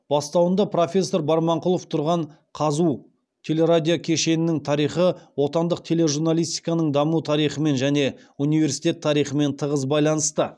бастауында профессор барманқұлов тұрған қазұу телерадиокешеннің тарихы отандық телерадиожурналистиканың даму тарихымен және университет тарихымен тығыз байланысты